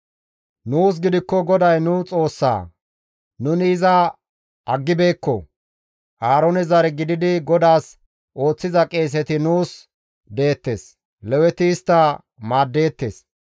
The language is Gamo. «Nuus gidikko GODAY nu Xoossaa; nuni iza aggibeekko. Aaroone zare gididi GODAAS ooththiza qeeseti nuus deettes; Leweti istta maaddeettes.